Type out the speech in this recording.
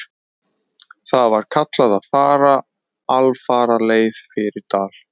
Þar var kallað að fara alfaraleið fyrir dal.